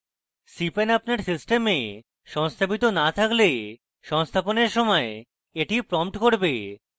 cpan আপনার system সংস্থাপিত না থাকলে সংস্থাপনের সময় এটি prompt করবে